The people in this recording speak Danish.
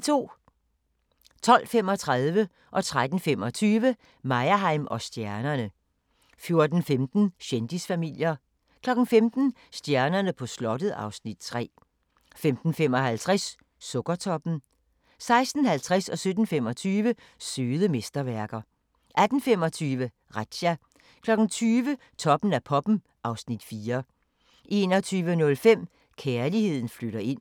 12:35: Meyerheim & stjernerne 13:25: Meyerheim & stjernerne 14:15: Kendisfamilier 15:00: Stjernerne på slottet (Afs. 3) 15:55: Sukkertoppen 16:50: Søde mesterværker 17:25: Søde mesterværker 18:25: Razzia 20:00: Toppen af poppen (Afs. 4) 21:05: Kærligheden flytter ind